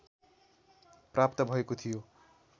प्राप्त भएको थियो